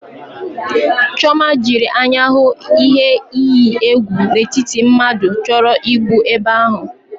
Chiọma jiri anya hụ ihe iyi egwu n'etiti mmadụ chọrọ igbu ebe ha.